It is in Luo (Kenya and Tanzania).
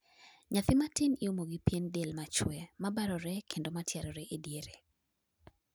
nyathi matin iumo gi pien del machwe ,mabarore kendo ma tiarore e diere